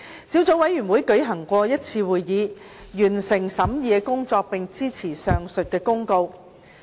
小組委員會舉行了一次會議，完成審議工作，並支持上述的公告。